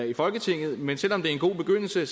i folketinget men selv om det er en god begyndelse